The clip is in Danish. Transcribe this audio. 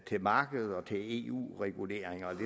til markedet og til eu reguleringer